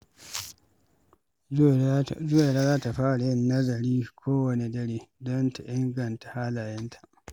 Zuwaira za ta fara yin nazari kowanne dare don ta inganta halayenta.